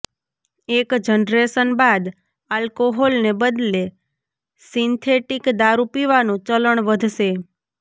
એક જનરેશન બાદ આલ્કોહોલને બદલે સિન્થેટિક દારૂ પીવાનું ચલણ વધશે